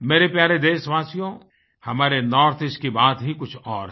मेरे प्यारे देशवासियो हमारे नॉर्थ Eastकी बात ही कुछ और है